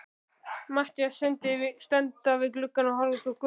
Matthías standa við gluggann og horfa út á götuna.